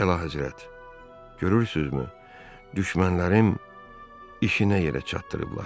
Əlahəzrət, görürsünüzmü, düşmənlərim işinə yerə çatdırıblar.